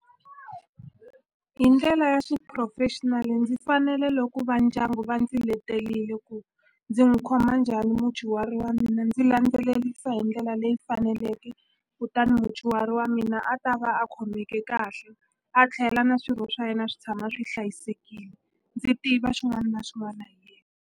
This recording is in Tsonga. Hi ndlela ya xiphurofexinali ndzi fanele loko va ndyangu va ndzi letelile ku ndzi n'wi khoma njhani mudyuhari wa mina ndzi landzelelisa hi ndlela la leyi faneleke kutani mudyuhari wa mina a ta va a khomeke kahle a tlhela na swirho swa yena swi tshama swi hlayisekile ndzi tiva xin'wana na xin'wana .